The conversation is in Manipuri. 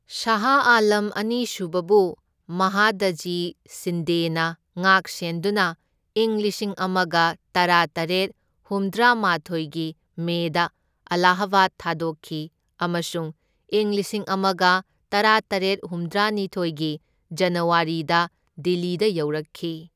ꯁꯥꯍ ꯑꯥꯂꯝ ꯑꯅꯤꯁꯨꯕꯕꯨ ꯃꯍꯥꯗꯖꯤ ꯁꯤꯟꯗꯦꯅ ꯉꯥꯛ ꯁꯦꯟꯗꯨꯅ ꯏꯪ ꯂꯤꯁꯤꯡ ꯑꯃꯒ ꯇꯔꯥꯇꯔꯦꯠ ꯍꯨꯝꯗ꯭ꯔꯥ ꯃꯥꯊꯣꯢꯒꯤ ꯃꯦꯗ ꯑꯂꯥꯍꯕꯥꯗ ꯊꯥꯗꯣꯛꯈꯤ ꯑꯃꯁꯨꯡ ꯏꯪ ꯂꯤꯁꯤꯡ ꯑꯃꯒ ꯇꯔꯥꯇꯔꯦꯠ ꯍꯨꯝꯗ꯭ꯔꯥꯅꯤꯊꯣꯢꯒꯤ ꯖꯅꯋꯥꯔꯤꯗ ꯗꯤꯜꯂꯤꯗ ꯌꯧꯔꯛꯈꯤ꯫